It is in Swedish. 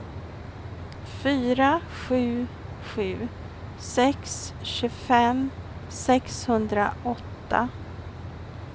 fyra sju sju sex tjugofem sexhundraåtta